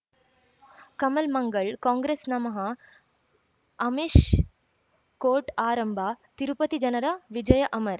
ಕಮಲ್ ಮಂಗಳ್ ಕಾಂಗ್ರೆಸ್ ನಮಃ ಅಮಿಷ್ ಕೋರ್ಟ್ ಆರಂಭ ತಿರುಪತಿ ಜನರ ವಿಜಯ ಅಮರ್